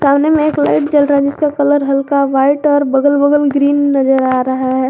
सामने में एक लाइट जल रहा है जिसका कलर हल्का व्हाइट और बगल बगल ग्रीन नजर आ रहा है।